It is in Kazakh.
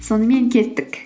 сонымен кеттік